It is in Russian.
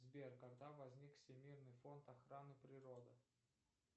сбер когда возник всемирный фонд охраны природы